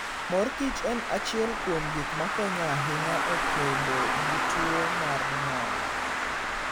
Mor Kich en achiel kuom gik makonyo ahinya e kedo gi tuwo mar ng'ol.